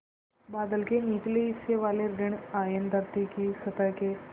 बादल के निचले हिस्से वाले ॠण आयन धरती की सतह के